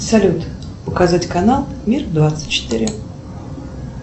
салют указать канал мир двадцать четыре